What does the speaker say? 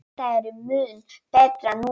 Þetta er mun betra núna.